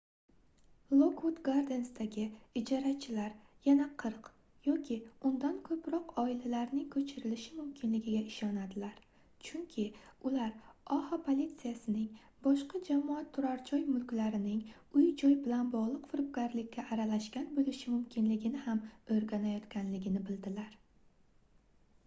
lokvud gardensdagi ijarachilar yana 40 yoki undan koʻproq oilalarning koʻchirilishi mumkinligiga ishonadilar chunki ular oha politsiyasining boshqa jamoat turarjoy mulklarining uy-joy bilan bogʻliq firibgarlikka aralashgan boʻlishi mumkinligini ham oʻrganayotganligini bildilar